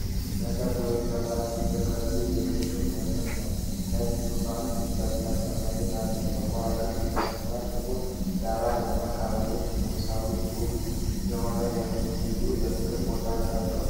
ለሠርግ ወይም ለበዓል የተዘጋጀ የቅንጦት መድረክ ነው። ነጭ ዙፋንና ለስላሳ መሬት አለው። በከዋክብት የተሞላው ጥቁር ዳራና ደማቅ አበባዎቹ፣ ንጉሣዊና ውብ የሆነ ልዩ የፍቅር ቦታ ተፈጥረዋል ።